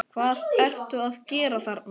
HVAÐ ERTU AÐ GERA ÞARNA!